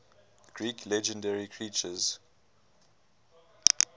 greek legendary creatures